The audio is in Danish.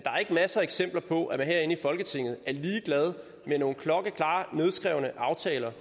er ikke masser af eksempler på at man herinde i folketinget er ligeglad med nogle klokkeklare nedskrevne aftaler